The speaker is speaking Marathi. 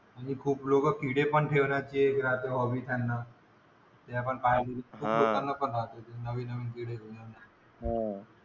आणि खूप लोक , बनवूं ठेवतात ते आपण पाहत आहोत नवीन नवीन , हा.